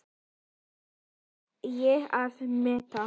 Það kann ég að meta.